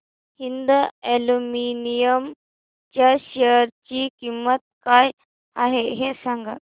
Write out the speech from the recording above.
Hind aluminium च्या share ची किंमत काय आहे हे सांगा